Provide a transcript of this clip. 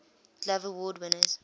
glove award winners